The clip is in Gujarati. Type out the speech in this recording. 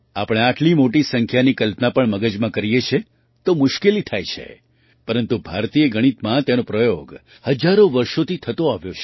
આપણે આટલી મોટી સંખ્યાની કલ્પના પણ મગજમાં કરીએ છીએ તો મુશ્કેલી થાય છે પરંતુ ભારતીય ગણિતમાં તેનો પ્રયોગ હજારો વર્ષોથી થતો આવ્યો છે